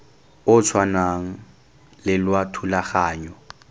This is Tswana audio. o tshwanang le wa thulaganyo